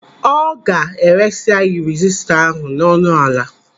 Ọ ga-eresi anyị rezistọ ahụ n'ọnụ ala.